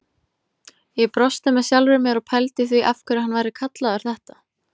Ég brosti með sjálfri mér og pældi í því af hverju hann væri kallaður þetta.